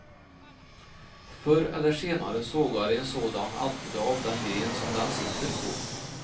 Förr eller senare sågar en sådan alltid av den gren som den sitter på.